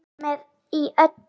Hann var með í öllu.